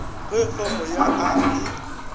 ge fomo ya a e